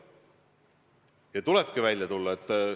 Ja tulebki välja tulla!